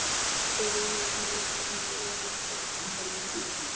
spurði Jón og tíndi steinflögur upp af borðinu.